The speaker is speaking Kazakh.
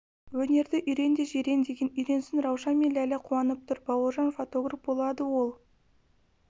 өнерді үйрен де жирен деген үйренсін раушан мен ләйлә қуанып тұр бауыржан фотограф болады ол